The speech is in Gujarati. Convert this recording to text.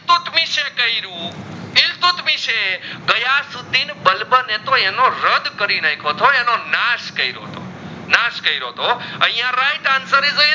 તે ગયા સુધી બલબન એ આનો રદ કરી નાખ્યો તો આનો નસ કરો તો નસ કરો તો આઇયાં right answer is